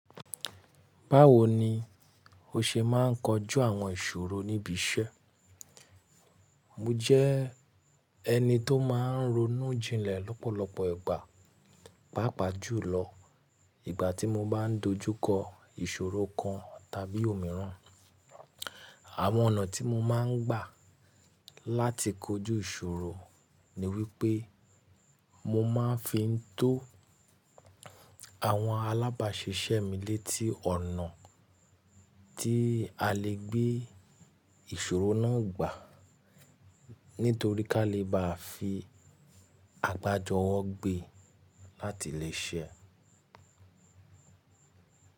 Báwo ni o ṣe máa ń kojú àwọn ìṣòro níbi iṣẹ́? Mo jẹ́ ẹni tó máa ń ronú jinlẹ̀ lọ́pọ̀lọpọ̀ ìgbà, pàápàá jùlọ ìgbà tí mo bá ń dojú kọ ìṣòro kan tàbí òmíràn. Àwọn ọ̀nà tí mo máa ń gbà láti kojú ìṣòro ni wípé mo máa fi ń tó àwọn alábàáṣiṣẹ́ mi létí ọ̀nà tí a lè gbé ìṣòro náà gbà. Nítorí ká lè bá fi àgbájọwọ́ gbe láti lè ṣe ẹ́.